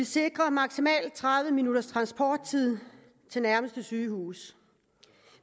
sikre maksimalt tredive minutters transporttid til nærmeste sygehus